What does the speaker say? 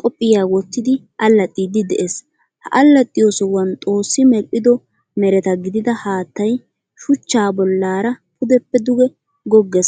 qophiyaa wottidi allaxxiiddi de'es. Ha allaxxiyo sohuwan xoosi medhdhido mereta gidida haattay shuchchaa bollaara pudeppe dugee gogges.